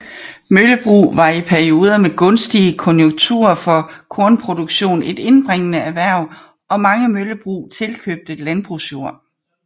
Møllebrug var i perioder med gunstige konjunkturer for kornproduktion et indbringende erhverv og mange møllebrug tilkøbte landbrugsjord